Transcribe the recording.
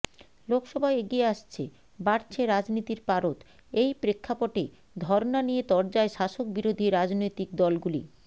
লোকসভা এগিয়ে আসছে বাড়ছে রাজনীতির পারদ এই প্রেক্ষাপটে ধর্না নিয়ে তরজায় শাসক বিরোধী রাজনৈতিক দলগুলি